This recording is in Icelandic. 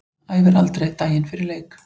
Æfir aldrei daginn fyrir leik.